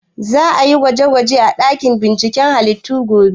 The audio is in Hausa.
Za a yi gwaje gwaje a ɗakin binciken halittu gobe?